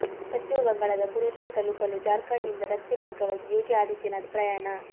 ಪಶ್ಚಿಮ ಬಂಗಾಳದ ಪುರುಲಿಯಾ ತಲುಪಲು ಜಾರ್ಖಂಡ್ ನಿಂದ ರಸ್ತೆ ಮಾರ್ಗವಾಗಿ ಯೋಗಿ ಆದಿತ್ಯನಾಥ್ ಪ್ರಯಾಣ